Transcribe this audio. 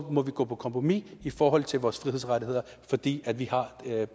må vi gå på kompromis i forhold til vores frihedsrettigheder fordi vi har